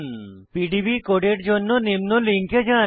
PDB কোডের জন্য নিম্ন লিঙ্কে যান